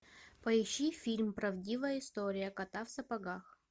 поищи фильм правдивая история кота в сапогах